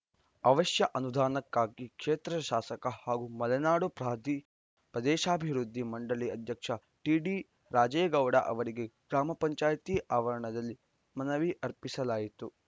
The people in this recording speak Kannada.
ಅವಶ್ಯ ಅನುದಾನಕ್ಕಾಗಿ ಕ್ಷೇತ್ರದ ಶಾಸಕ ಹಾಗೂ ಮಲೆನಾಡು ಪ್ರದೇಶಾಭಿವೃದ್ಧಿ ಮಂಡಳಿ ಅಧ್ಯಕ್ಷ ಟಿಡಿ ರಾಜೇಗೌಡ ಅವರಿಗೆ ಗ್ರಾಮ ಪಂಚಾಯಿತಿ ಆವರಣದಲ್ಲಿ ಮನವಿ ಅರ್ಪಿಸಲಾಯಿತು